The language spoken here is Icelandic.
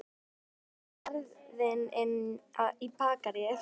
Fóruð þið með sverðin inn í Bakaríið?